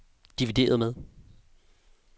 divideret med